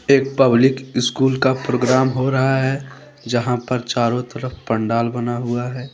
एक public school का programme हो रहा है। जहां पर चारों तरफ पंडाल बना हुआ है।